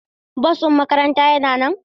Bus din makaranta yana nan?